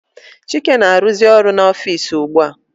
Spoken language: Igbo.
Chike na -aruzi ọrụ n'ofici ugbua.